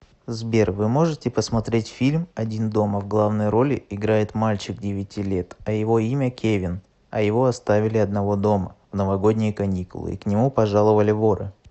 сбер вы можете посмотреть фильм один дома в главной роли играет мальчик девяти лет а его имя кевин а его оставили одного дома в новогодние каникулы и к нему пожаловали воры